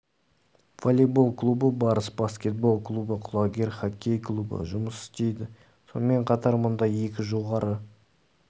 волейбол клубы барыс баскетбол клубы құлагер хоккей клубы жұмыс істейді сонымен қатар мұнда екі жоғары